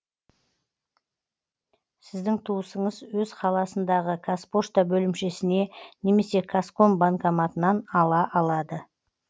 сіздің туысыңыз өз қаласындағы қазпошта бөлімшесіне немесе казком банкоматынан ала алады